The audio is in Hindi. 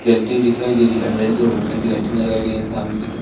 जलती हुई दिखाई दे रही है अन्दर की ओर वाइट कलर की लाइटिंग लगाई गई हैं सामने की तरफ--